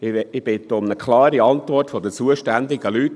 Ich bitte um eine klare Antwort der zuständigen Leute: